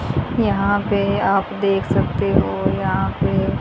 यहां पे आप देख सकते हो यहां पे--